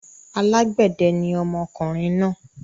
Alágbẹ̀dẹ ni ọmọkùnrin náà.